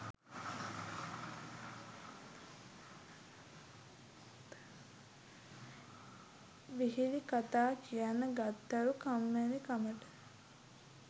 විහිළි කතා කියන්න ගත්තලු කම්මැලි කමට.